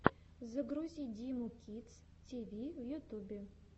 загрузи диму кидс ти ви в ютюбе